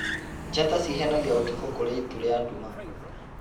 Njata cihenagia ũtukũ kũrĩ itu rĩa nduma.